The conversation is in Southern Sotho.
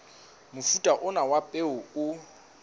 mofuta ona wa peo o